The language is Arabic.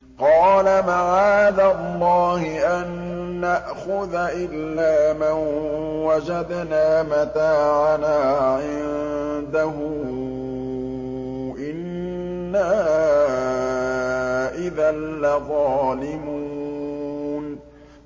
قَالَ مَعَاذَ اللَّهِ أَن نَّأْخُذَ إِلَّا مَن وَجَدْنَا مَتَاعَنَا عِندَهُ إِنَّا إِذًا لَّظَالِمُونَ